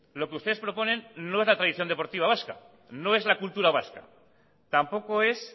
lo que ustedes proponen no es la tradición deportiva vasca no es la cultura vasca tampoco es